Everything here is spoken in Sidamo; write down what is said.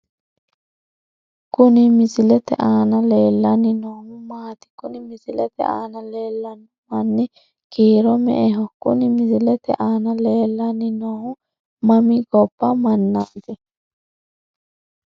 Kuni misilete aana leellanni noohu maati? kuni misilete aana leellanno manni kiiro me'eho? Kuni misilete aana leellanni noohu mami gobba mannaati?